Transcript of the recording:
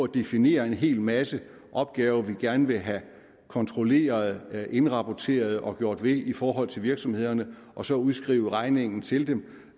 definere en hel masse opgaver som vi gerne vil have kontrolleret indrapporteret og gjort ved i forhold til virksomhederne og så udskrive regningen til dem